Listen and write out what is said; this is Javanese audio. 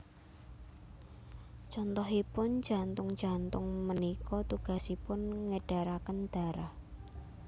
Contohipun jantung jantung punika tugasipun ngedaraken darah